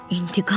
İntiqam?